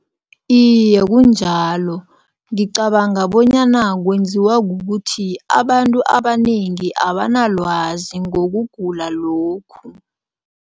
Iye, kunjalo. Ngicabanga bonyana kwenziwa kukuthi abantu abanengi abanalwazi ngokugula lokhu.